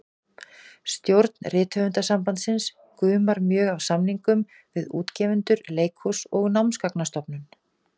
Stjórn Rithöfundasambandsins gumar mjög af samningum við útgefendur, leikhús og Námsgagnastofnun.